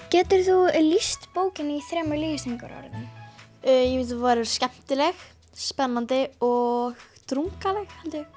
getur þú lýst bókinni í þremur lýsingarorðum skemmtileg spennandi og drungaleg